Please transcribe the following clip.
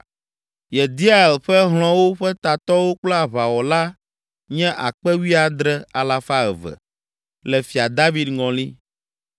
Yediael ƒe hlɔ̃wo ƒe tatɔwo kple aʋawɔla nye akpe wuiadre, alafa eve (17,200) le Fia David ŋɔli.